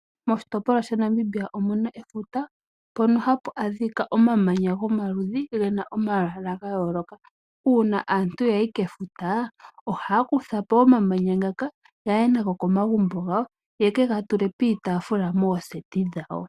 Moshitopolwa sha Namibia omuna efuta mpono hapu adhika omamanya gomaludhi ga yooloka. Uuna aantu yayi kefuta ohaya kutha omamanya ngaka ye kega tule miitaafula mooseti dhawo.